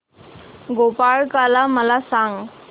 गोपाळकाला मला सांग